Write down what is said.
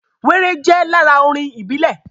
Wéré jẹ́ lára orin ìbílẹ̀